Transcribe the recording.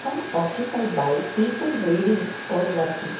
occupied by people reading or working.